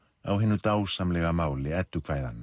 á hinu dásamlega máli